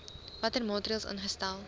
watter maatreëls ingestel